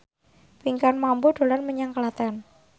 Pinkan Mambo dolan menyang Klaten